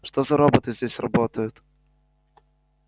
что за роботы здесь работают